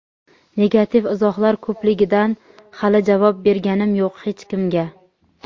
negativ izohlar ko‘pligidan hali javob berganim yo‘q hech kimga.